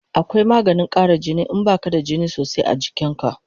Akwai maganin kara jini in baka da jini sosai a jikin ka